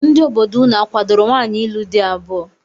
Ndị obodo unu akwadoro nwaanyị ịlụ di abụọ?